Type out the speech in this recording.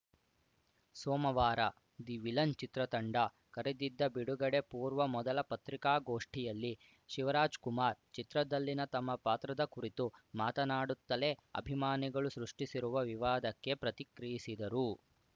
ಸೋಮವಾರ the villain ಚಿತ್ರತಂಡ ಕರೆದಿದ್ದ ಬಿಡುಗಡೆ ಪೂರ್ವ ಮೊದಲ ಪತ್ರಿಕಾಗೋಷ್ಠಿಯಲ್ಲಿ ಶಿವರಾಜ್‌ ಕುಮಾರ್‌ ಚಿತ್ರದಲ್ಲಿನ ತಮ್ಮ ಪಾತ್ರದ ಕುರಿತು ಮಾತನಾಡುತ್ತಲೇ ಅಭಿಮಾನಿಗಳು ಸೃಷ್ಟಿಸಿರುವ ವಿವಾದಕ್ಕೆ ಪ್ರತಿಕ್ರಿಯಿಸಿದರು